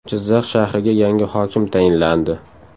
Jizzax shahriga yangi hokim tayinlandi.